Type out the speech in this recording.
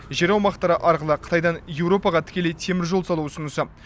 жер аумақтары арқылы қытайдан еуропаға тікелей теміржол салу ұсынысы